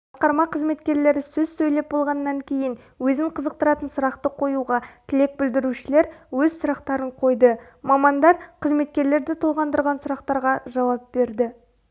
басқарма қызметкерлері сөз сөйлеп болғаннан кейін өзін қызықтыратын сұрақты қоюына тілек білдірушілер өз сұрақтарын қойды мамандар қызметкерлерді толғандыратын сұрақтарға жауап берді